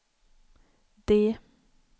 D